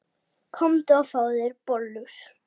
Komdu og fáðu þér bollur.